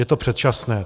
Je to předčasné.